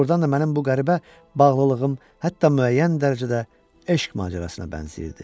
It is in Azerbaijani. Doğrudan da mənim bu qəribə bağlılığım hətta müəyyən dərəcədə eşq macərasına bənzəyirdi.